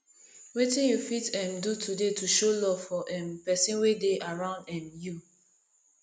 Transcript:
wetin you fit um do today to show love for um pesin wey dey around um you